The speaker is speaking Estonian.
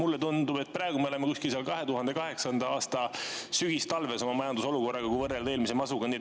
Mulle tundub, et praegu me oleme kuskil seal 2008. aasta sügistalves oma majandusolukorraga, kui võrrelda eelmise masuga.